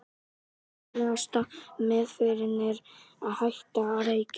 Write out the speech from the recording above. Nauðsynlegasta meðferðin er að hætta að reykja.